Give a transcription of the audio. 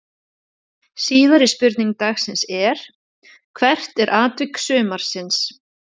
Síðari spurning dagsins er: Hvert er atvik sumarsins?